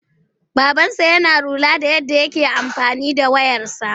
Babansa yana lura da yadda take amfani da wayarsa..